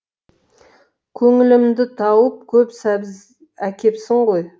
көңілімді тауып көп сәбіз әкепсің ғой